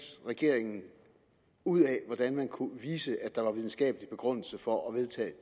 regeringen ud af hvordan man kunne vise at der var en videnskabelig begrundelse for at vedtage